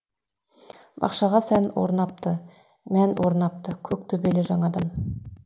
бақшаға сән орнапты мән орнапты көк төбелі жаңадан